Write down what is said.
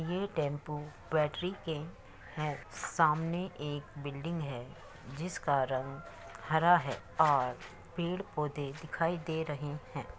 ये tempo battery के है। सामने एक बिल्डिग है। जिसका रंग हरा है और पेड़ पौधे दिखाई दे रहे है।